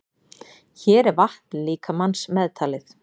Hér er vatn líkamans meðtalið.